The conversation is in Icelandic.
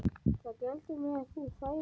Það gleddi mig, ef þú þæðir hana